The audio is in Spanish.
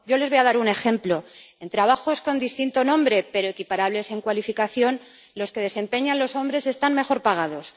Yo les voy a dar un ejemplo en trabajos con distinto nombre pero equiparables en cualificación, los que desempeñan hombres están mejor pagados.